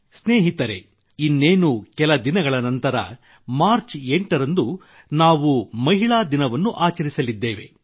ಸ್ನೇಹಿತರೇ ಇನ್ನೇನು ಕೆಲ ದಿನಗಳ ನಂತರ ಮಾರ್ಚ್ 8 ರಂದು ನಾವು ಮಹಿಳಾ ದಿನವನ್ನು ಆಚರಿಸಲಿದ್ದೇವೆ